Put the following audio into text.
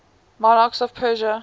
monarchs of persia